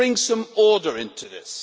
Let us bring some order into this.